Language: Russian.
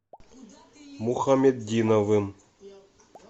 мухаметдиновым